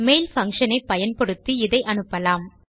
mail function ஐ பயன்படுத்தி இதை அனுப்பலாம்